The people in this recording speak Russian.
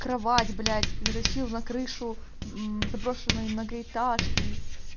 кровать блять затащил на крышу мм заброшенной многоэтажки